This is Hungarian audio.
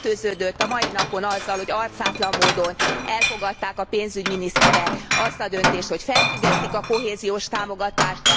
Betetőződött a mai napon azzal, hogy arcátlan módon elfogadták a pénzügyminiszterek azt a döntést, hogy felfüggesztik a kohéziós támogatást.